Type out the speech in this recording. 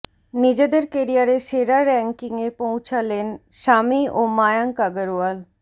নিজেদের কেরিয়ারে সেরা র্যাঙ্কিংয়ে পৌঁছালেন সামি ও মায়াঙ্ক আগরওয়াল